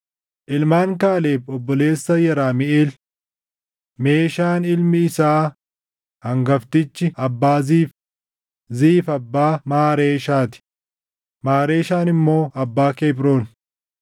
Ilmaan Kaaleb obboleessa Yeramiʼeel: Meeshaan ilmi isaa hangaftichi abbaa Ziif; Ziif abbaa Maareeshaa ti; Maareeshaan immoo abbaa Kebroon.